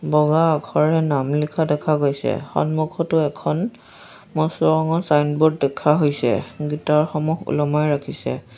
বগা আখৰেৰে নাম লিখা দেখা গৈছে সন্মুখটো এখন বস্তুসমূহ চাইন ব'ৰ্ড দেখা হৈছে গীটাৰ সমূহ ওলমাই ৰাখিছে।